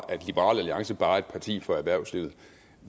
at liberal alliance bare er et parti for erhvervslivet